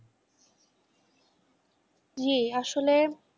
জি আসলে,